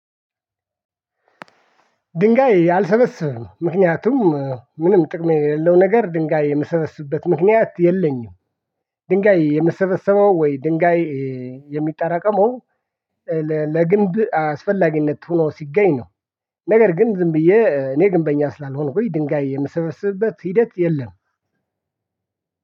ድንጋይ አልሰበስብም ምክንያቱም ምንም ጥቅም የለው ነገር ድንጋይ የምሰበስብበት ምክንያት የለኝም። ድንጋይ የምሰበሰበው ወይ ድንጋይ የሚጠራቀመው ለግንብ አስፈላጊነት ሆኖ ሲገኝ ነው ነገር ግን ዝም ብዬ እኔ ግንበኛ ስላልሆንኩኝ ድንጋይ የምሰበስብበት ሂደት የለም።